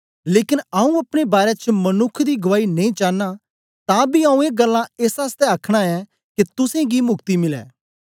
लेकन आऊँ अपने बारै च मनुक्ख दी गुआई नेई चानां तां बी आऊँ ए गल्लां एस आसतै अखनां ऐ के तुसेंगी मुक्ति मिलै